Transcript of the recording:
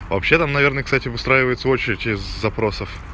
вообще там наверное кстати выстраивается очередь из запросов